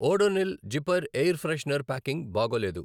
Odonil zipper air freshener packing బాగోలేదు.